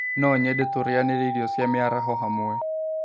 No nyende tũrĩanîre ĩrĩo cia mĩaraho hamwe